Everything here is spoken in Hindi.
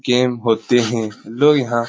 गेम होते हैं | लो यहाँ --